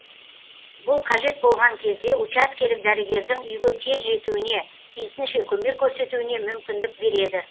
бұл қажет болған кезде учаскелік дәрігердің үйге тез жетуіне тиісінше көмек көрсетуіне мүмкіндік береді